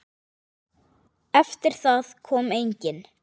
Eftir það kom enginn.